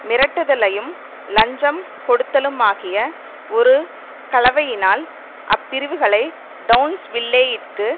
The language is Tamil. மிரட்டுதலையும் லஞ்சம் கொடுத்தலுமாகிய ஒரு கலவையினால் அப்பிரிவுகளை டெளன்ஸ்வில்லேயிற்கு